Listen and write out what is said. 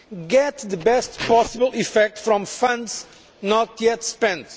get the best possible effect from funds not yet spent